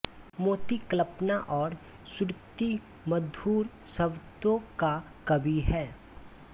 मोंती कल्पना और श्रुतिमधुर शब्दों का कवि है